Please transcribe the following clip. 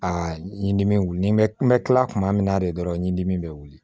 Aa n ye dimi wuli ni n bɛ n bɛ tila tuma min na de dɔrɔn ɲindi bɛ wuli